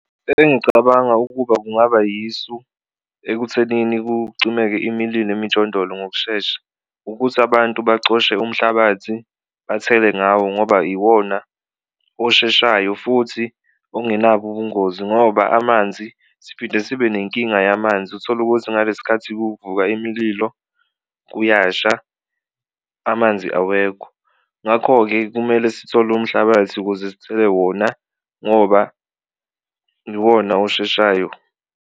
Engicabanga ukuba kungaba yisu ekuthenini kucimeke imililo emijondolo ngokushesha ukuthi abantu bacoshe umhlabathi bathele ngawo ngoba iwona osheshayo futhi ongenabo ubungozi, ngoba amanzi siphinde sibenenkinga yamanzi utholukuthi ngalesi sikhathi kuvuka imililo kuyasha amanzi awekho. Ngakho-ke, kumele sithole umhlabathi ukuze sithele wona ngoba iwona osheshayo.